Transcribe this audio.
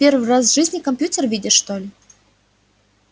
первый раз в жизни компьютер видишь что ли